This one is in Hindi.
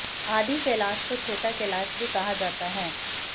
आदि कैलाश को छोटा कैलाश भी कहा जाता है